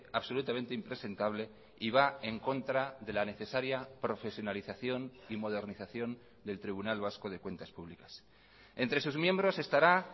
absolutamente impresentable y va en contra de la necesaria profesionalización y modernización del tribunal vasco de cuentas públicas entre sus miembros estará